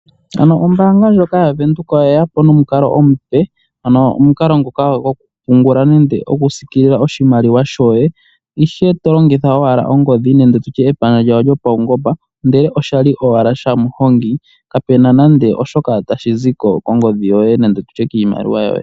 Ano ombaanga ndjoka yaVenduka oye ya po nomukalo omupe, ano omukalo ngoka gokupungula nenge okusikilila oshimaliwa shoye, ihe to longitha owala ongodhi nenge tu tye epandja lyawo lyopaungomba, ndele oshali owala shaMuhongi, kapu na nando oshoka tashi zi ko kongodhi nenge tu tye kiimaliwa yoye.